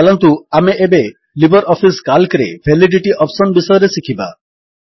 ଚାଲନ୍ତୁ ଆମେ ଏବେ ଲିବର୍ ଅଫିସ୍ କାଲ୍କରେ ଭାଲିଡିଟି ଅପ୍ସନ୍ ବିଷୟରେ ଶିଖିବା